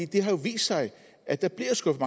det har jo vist sig at der bliver skubbet